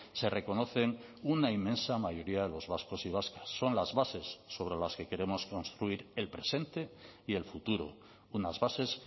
se reconocen una inmensa mayoría de los vascos y vascas son las bases sobre las que queremos construir el presente y el futuro unas bases